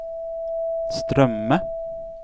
strømme